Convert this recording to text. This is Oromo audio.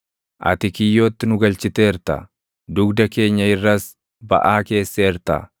Ati kiyyootti nu galchiteerta; dugda keenya irras baʼaa keesseerta.